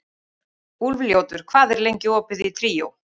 Úlfljótur, hvað er lengi opið í Tríó?